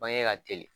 Bange ka teli